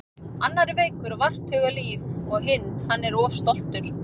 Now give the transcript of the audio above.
Annar er veikur og vart hugað líf og hinn. hann er of stoltur.